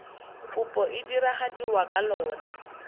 kopo e diragadiwa ka lona